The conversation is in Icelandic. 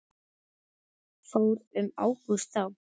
Fór um Ágúst þá?